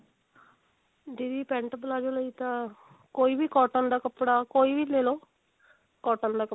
ਦੀਦੀ pent palazzo ਲਈ ਤਾਂ ਕੋਈ ਵੀ cotton ਦਾ ਕੱਪੜਾ ਕੋਈ ਵੀ ਲੇਲੋ cotton ਦਾ ਕੱਪੜਾ